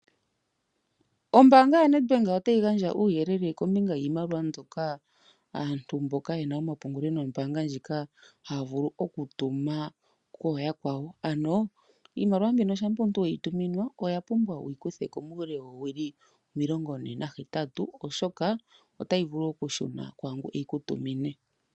Ombaanga yoNedbank otayi gandja uuyelele kombinga yiimaliwa mbyoka aantu mboka ye na omapungulo nombaanga ndjika haya vulu okutuma kooyakwawo. Iimaliwa mbika shampa omuntu we yi tuminwa owa pumbwa okuyi kutha ko muule woowili omilongone nahetatu, oshoka otayi vulu okushuna kwaa ngoka e yi ku tumine.